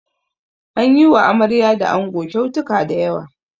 An yi wa amarya da ango kyautuka da yawa.